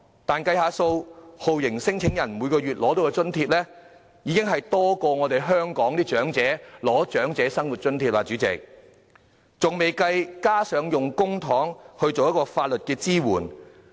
但是，計算一下，酷刑聲請人每月獲得的津貼，較香港的長者生活津貼還要多。代理主席，還未計算要用公帑提供法律支援。